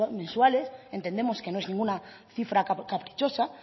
mensuales entendemos que no es ninguna cifra caprichosa